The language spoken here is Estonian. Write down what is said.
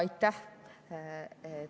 Aitäh!